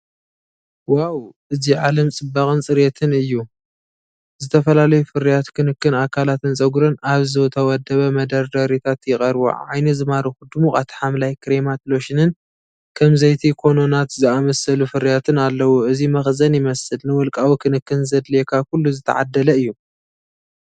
ዋው! እዚ ዓለም ጽባቐን ጽሬትን እዩ! ዝተፈላለዩ ፍርያት ክንክን ኣካላትን ጸጉርን ኣብ ዝተወደበ መደርደሪታት ይቐርቡ። ዓይኒ ዝማርኹ ድሙቓት ሓምላይ፡ ክሬማት፡ ሎሽንን ከም ዘይቲ ኮኮናት ዝኣመሰሉ ፍርያትን ኣለዉ። እዚ መኽዘን ይመስል፣ ንውልቃዊ ክንክን ዘድልየካ ኩሉ ዝተዓደለ እዩ።